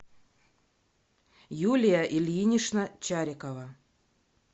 юлия ильинична чарикова